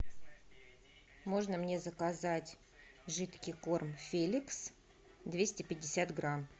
можно мне заказать жидкий корм феликс двести пятьдесят грамм